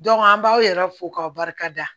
an b'aw yɛrɛ fo k'aw barika da